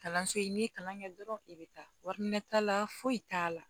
Kalanso i ye kalan kɛ dɔrɔn i bɛ taa wari t'a la foyi t'a la